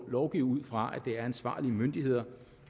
lovgive ud fra at det er ansvarlige myndigheder